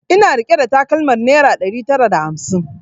Ina rike da takalmar naira ɗari tara da hamsin